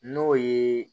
N'o ye